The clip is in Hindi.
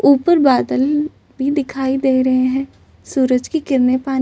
उपर बादल भी दिखाई दे रहे है सूरज की किरने पानी--